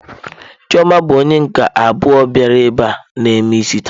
Chioma bụ onye nke abụọ bịara ebe a na eme isi taa.